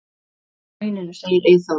Út af hruninu segir Eyþór.